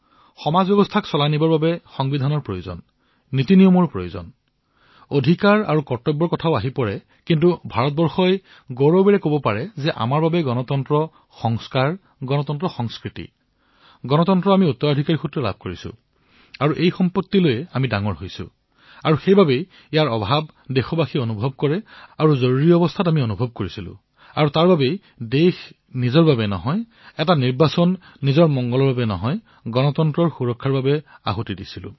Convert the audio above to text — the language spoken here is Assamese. সমাজ ব্যৱস্থা চলোৱাৰ বাবে সংবিধানৰ প্ৰয়োজন হয় আইন নিয়মৰো আৱশ্যক হয় অধিকাৰ আৰু কৰ্তব্যৰো কথা কোৱা হয় কিন্তু ভাৰতে গৰ্বেৰে এয়া কব পাৰে যে আমাৰ বাবে আইন নিয়মৰ ঊৰ্ধত গণতন্ত্ৰ আমাৰ সংস্কাৰ হয় গণতন্ত্ৰ আমাৰ সংস্কৃতি হয় গণতন্ত্ৰ আমাৰ ঐতিহ্য হয় আৰু সেই ঐতিহ্যক লৈ আমি ডাঙৰদীঘল হৈছো আৰু সেইবাবে তাৰ অনুপস্থিতি দেশবাসীয়ে অনুভৱ কৰে আৰু আৰম্ভণিতে আমি অনুভৱ কৰিছো আৰু সেইবাবে দেশ নিজৰ বাবে নহয় এক সম্পূৰ্ণ নিৰ্বাচন নিজৰ হিতৰ বাবে নহয় গণতন্ত্ৰৰ ৰক্ষাৰ বাবে সমৰ্পিত হৈছিল